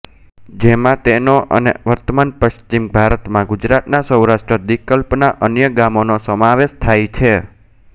જેમાં તેનો અને વર્તમાન પશ્ચિમ ભારતમાં ગુજરાતના સૌરાષ્ટ્ર દ્વીપકલ્પના અન્ય ગામોનો સમાવેશ થાય છે